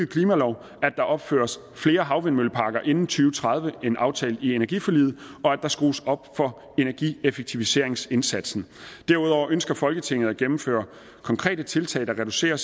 klimalov at der opføres flere havvindmølleparker inden to tredive end aftalt i energiforliget og at der skrues op for energieffektiviseringsindsatsen derudover ønsker folketinget at gennemføre konkrete tiltag der reducerer